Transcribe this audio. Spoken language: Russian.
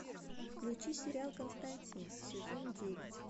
включи сериал константин сезон девять